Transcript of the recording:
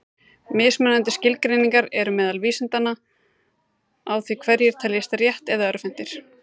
Mismunandi skilgreiningar eru til meðal vísindamanna á því hverjir teljist rétt- eða örvhentir.